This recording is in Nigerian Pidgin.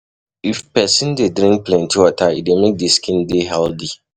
If person dey drink plenty water, e dey make di skin dey healthy